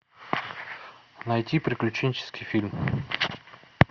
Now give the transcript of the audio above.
найти приключенческий фильм